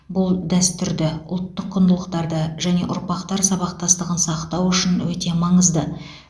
бұл дәстүрді ұлттық құндылықтарды және ұрпақтар сабақтастығын сақтау үшін өте маңызды